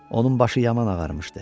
Onun başı yaman ağarmışdı.